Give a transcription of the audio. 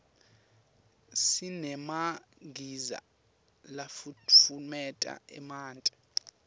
sinemagiza lafutfumeta emanti